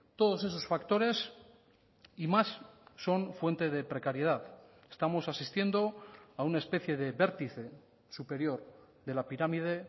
todos esos factores y más son fuente de precariedad estamos asistiendo a una especie de vértice superior de la pirámide